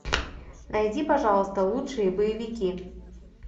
найди пожалуйста лучшие боевики